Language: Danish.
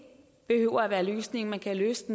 behøver at være løsningen man kan løse